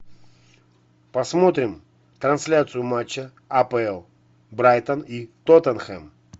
посмотрим трансляцию матча апл брайтон и тоттенхэм